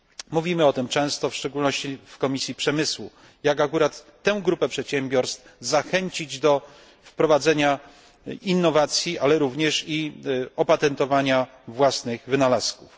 Mówimy o tym często, w szczególności w Komisji Przemysłu, jak akurat tę grupę przedsiębiorstw zachęcić do wprowadzenia innowacji, ale również opatentowania własnych wynalazków.